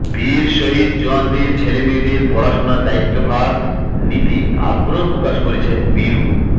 বীর শহিদ জওয়ানদের ছেলেমেয়েদের পড়াশুনার দায়িত্বভার নিতে আগ্রহ প্রকাশ করেছেন বীরু